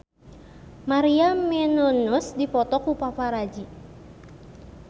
Maria Menounos dipoto ku paparazi